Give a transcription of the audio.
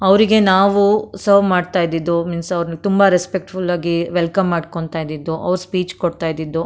ಅವರಿಗೆ ನಾವು ಸರ್ವ್ ಮಾಡ್ತಾ ಇದ್ದದ್ದು ಮೀನ್ಸ್ ಅವರ್ನ್ ತುಂಬಾ ರೆಸ್ಪೆಕ್ಟ್ ಫುಲ್ ಆಗಿ ವೆಲ್ಕಮ್ ಮಾಡ್ಕೊಂತ ಇದ್ದದ್ದು ಅವ್ರ ಸ್ಪೀಚ್ ಕೊಡ್ತಾ ಇದ್ದದ್ದು.